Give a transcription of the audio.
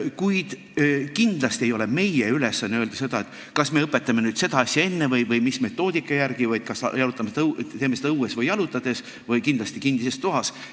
Kuid kindlasti ei ole meie ülesanne öelda seda, kas me õpetame nüüd seda asja enne või mis metoodika järgi või kas teeme seda õues või jalutades või kindlasti kinnises ruumis.